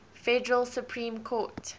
federal supreme court